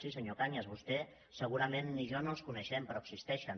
sí senyor cañas vostè segurament ni jo no els coneixem però existeixen